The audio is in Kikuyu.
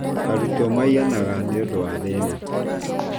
Arutwo maiyanaga nĩũndũ wa thĩna